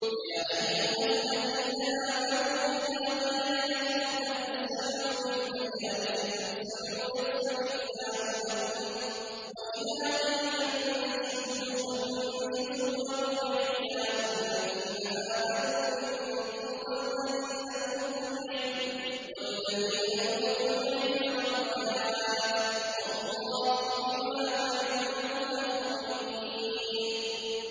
يَا أَيُّهَا الَّذِينَ آمَنُوا إِذَا قِيلَ لَكُمْ تَفَسَّحُوا فِي الْمَجَالِسِ فَافْسَحُوا يَفْسَحِ اللَّهُ لَكُمْ ۖ وَإِذَا قِيلَ انشُزُوا فَانشُزُوا يَرْفَعِ اللَّهُ الَّذِينَ آمَنُوا مِنكُمْ وَالَّذِينَ أُوتُوا الْعِلْمَ دَرَجَاتٍ ۚ وَاللَّهُ بِمَا تَعْمَلُونَ خَبِيرٌ